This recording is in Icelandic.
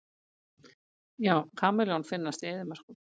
Já, kameljón finnast í eyðimörkum.